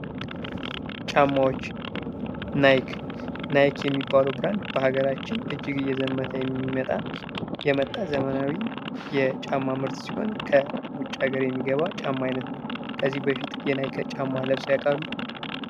ጫማዎች ናይክ፦ ናይክ የሚባለው ብራንድ በሀገራችን እጅግ እየዘመነ የመጣ ዘመናዊ የውጭ ሀገር ምርት ሲሆን ከውጭ ሀገር ወደ ኢትዮጵያ የገባነው ከዚህ በፊት የናይክ ጫማ ለብሰው ያውቃሉ?